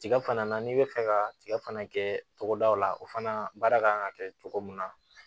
Tiga fana na n'i bɛ fɛ ka tiga fana kɛ togodaw la o fana baara kan ka kɛ cogo min na